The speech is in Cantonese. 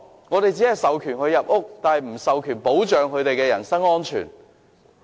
我們只是授權他們進入屋內，但卻沒有保障他們的人身安全。